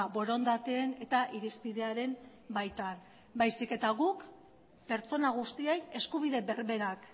borondateen eta irizpidearen baitan baizik eta guk pertsona guztiei eskubide berberak